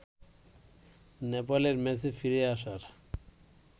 নেপালের ম্যাচে ফিরে আসার